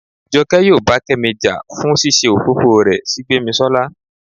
jọke yóò bá kemí ja fún ṣíṣe òfófó rẹ sí gbemisola